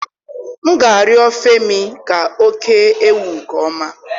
M ga-arịọ Femi ka o kee ewu nke ọma.